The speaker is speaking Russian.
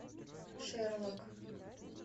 шерлок